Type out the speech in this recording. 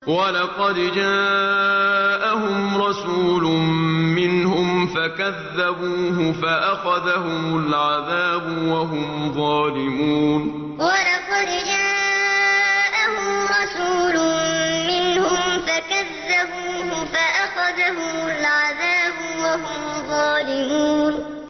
وَلَقَدْ جَاءَهُمْ رَسُولٌ مِّنْهُمْ فَكَذَّبُوهُ فَأَخَذَهُمُ الْعَذَابُ وَهُمْ ظَالِمُونَ وَلَقَدْ جَاءَهُمْ رَسُولٌ مِّنْهُمْ فَكَذَّبُوهُ فَأَخَذَهُمُ الْعَذَابُ وَهُمْ ظَالِمُونَ